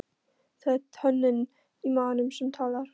Það er tönnin í maganum sem talar.